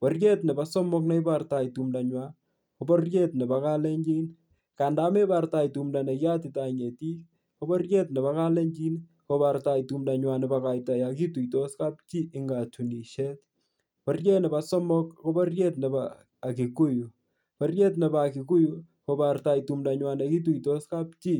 Bororiet nebo somok nebortoi tumndanywai kobororiet nebo kalenjin. Nganda mebortoi tumnda nekiyatitoi ngetik, kobororiet nebo kalenjin kobortoi tumndanywai nebo koito yokituitos kapchi eng katunisiet. Bororiet nebo somok ko bororiet nebo kiguyu. Bororiet nebo a kiguyu kobortoi tumndonywai nekituitos kapchi.